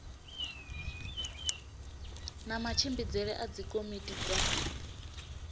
na matshimbidzele a dzikomiti dza